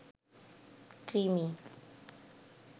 কৃমি